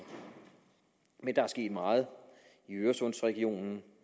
men der er sket meget i øresundsregionen